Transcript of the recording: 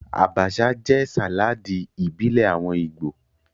Abacha jẹ́ sàláàdì ìbílẹ̀ àwọn Ìgbò